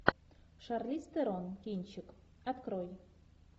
шарлиз терон кинчик открой